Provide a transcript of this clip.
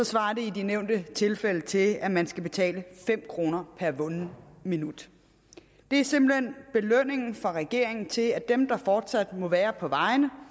svarer det i de nævnte tilfælde til at man skal betale fem kroner per vundet minut det er simpelt hen belønningen fra regeringen til dem der fortsat må være på vejene